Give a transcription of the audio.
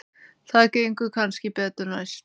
Það gengur kannski betur næst.